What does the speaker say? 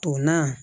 O na